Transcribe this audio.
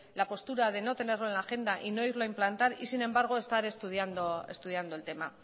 la postura de no tenerlo en la agenda y no irlo a implantar y sin embargo estar estudiando el tema